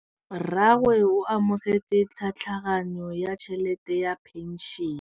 Rragwe o amogetse tlhatlhaganyô ya tšhelête ya phenšene.